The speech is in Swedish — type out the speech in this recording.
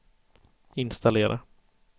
installera